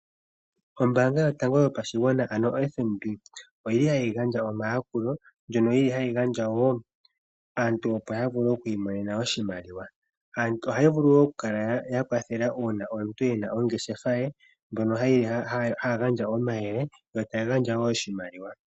Ombaanga yotango yopashigwana ano o FNB oyili hayi gandja omayakulo kaantu opo ya vule oku imonena oshimaliwa. Ohayi vulu woo okukwathela uuna omuntu ena ongeshefa ye ,ohaya gandja omayele nosho woo oshimaliwa.